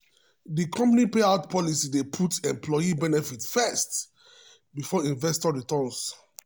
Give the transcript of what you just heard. di company payout policy dey put employee benefits first before investor returns.